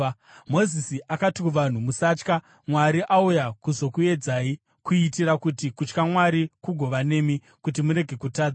Mozisi akati kuvanhu, “Musatya. Mwari auya kuzokuedzai, kuitira kuti kutya Mwari kugova nemi, kuti murege kutadza.”